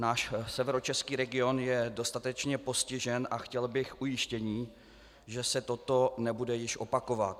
Náš severočeský region je dostatečně postižen a chtěl bych ujištění, že se toto nebude již opakovat.